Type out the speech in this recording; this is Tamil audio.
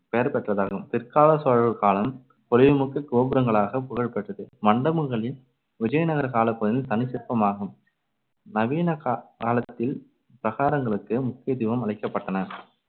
பெயர்பெற்றதாகும். பிற்காலச் சோழர் காலம் பொலிவுமிக்க கோபுரங்களாகப் புகழ்பெற்றது. மண்டபங்களின் விஜயநகர காலப்ப~ தனிச்சிற்பமாகும். நவீனகா~ காலத்தில் பிரகாரங்களுக்கு முக்கியத்துவம் அளிக்கப்பட்டன.